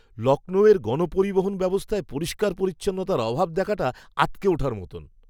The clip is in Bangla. লখনউয়ের গণপরিবহন ব্যবস্থায় পরিষ্কার পরিচ্ছন্নতার অভাব দেখাটা আঁতকে ওঠার মতো!